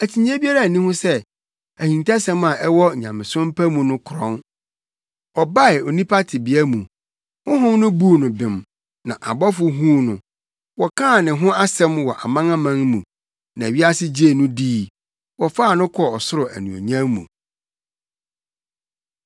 Akyinnye biara nni ho sɛ, ahintasɛm a ɛwɔ nyamesom pa mu no krɔn: Ɔbae onipa tebea mu, Honhom no buu no bem, na abɔfo huu no, wɔkaa ne ho asɛm wɔ amanaman mu, na wiase gyee no dii, wɔfaa no kɔɔ ɔsoro anuonyam mu.